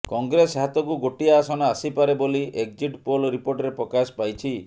କଂଗ୍ରେସ ହାତକୁ ଗୋଟିଏ ଆସନ ଆସିପାରେ ବୋଲି ଏକଜିଟ୍ ପୋଲ ରିପୋର୍ଟରେ ପ୍ରକାଶ ପାଇଛି